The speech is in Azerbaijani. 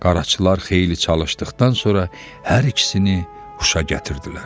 Qaraçılar xeyli çalışdıqdan sonra hər ikisini huşa gətirdilər.